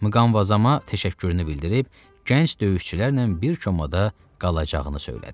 Mqanvazama təşəkkürünü bildirib gənc döyüşçülərlə bir çomada qalacağını söylədi.